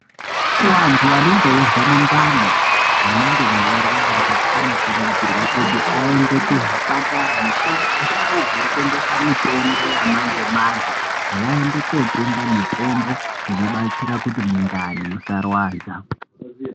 Kuwantu anenge eyizwa mundani munenge mweyirwadza anokurudzirwa kuti ayende kuzvipatara nekundau dzinotengesa mitombo yamanje-manje, vayende kotenga mitombo inobatsira kuti mundani musarwadza.